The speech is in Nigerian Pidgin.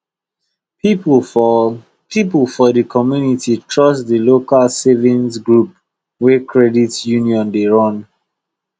people for people for the community trust the local savings group wey credit union dey run